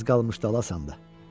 Az qalmış dalasan da.